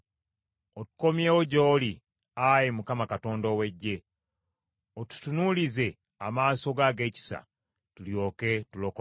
Otukomyewo gy’oli, Ayi Mukama Katonda ow’Eggye, otutunuulize amaaso go ag’ekisa, tulyoke tulokolebwe.